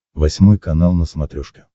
восьмой канал на смотрешке